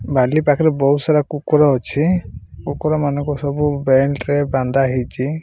ବାଲି ପାଖେରେ ବୋହୁତ୍ ସାରା କୁକୁର ଅଛି କୁକୁର ମନଙ୍କୁ ସବୁ ବେଲ୍ଟ୍ ରେ ବାନ୍ଧା ହେଇଚି।